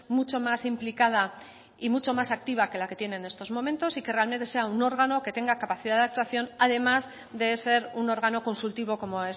mucho más implicada y mucho más activa que la que tiene en estos momentos y que realmente sea un órgano que tenga capacidad de actuación además de ser un órgano consultivo como